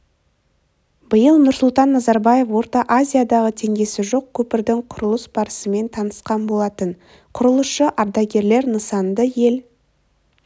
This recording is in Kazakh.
биыл нұрсұлтан назарбаев орта азиядағы теңдесі жоқ көпірдің құрылыс барысымен танысқан болатын құрылысшы ардагерлер нысанды ел